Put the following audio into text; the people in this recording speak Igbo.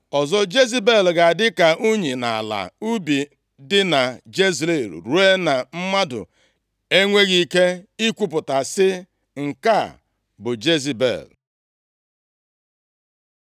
Ozu Jezebel ga-adị ka unyi nʼala ubi dị na Jezril, ruo na mmadụ enweghị ike ikwupụta sị, Nke a bụ Jezebel.’ ”